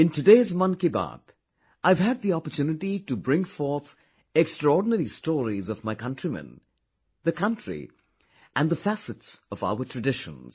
In today's Mann Ki Baat, I have had the opportunity to bring forth extraordinary stories of my countrymen, the country and the facets of our traditions